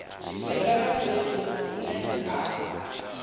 tshifhinga na fhethu hune ha